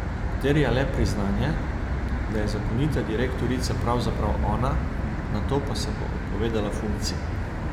Terja le priznanje, da je zakonita direktorica pravzaprav ona, nato pa se bo odpovedala funkciji.